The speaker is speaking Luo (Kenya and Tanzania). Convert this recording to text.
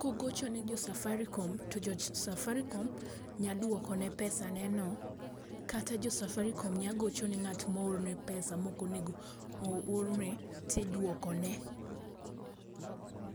kogoche ne jo Safaricom, Jo Safaricom nya duokone pesa ne no, kata jo safaricom nya gocho ne ng'at mo orne pesa mok onego orne ti duokone.